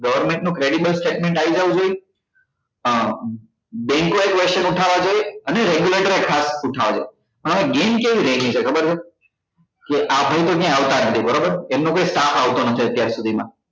government નું credible statement આવી જવું જોઈએ અ bank એ question ઉઠાવવા જોઈએ અને regulatorer ને ખાસ ઉઠવવા જોઈએ હવે game કેવી થઇ ગઈ છે ખબર છે કે આપડે તો ક્યાય આવતા જ નથી બરોબર એમનો ક્યાય staff આવતો નથી અત્યાર સુધી માં